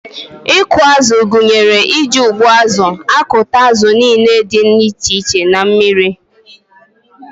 Ịkụ azụ gụnyere iji ụgbụazụ akụta azụ niile dị iche iche na mmiri.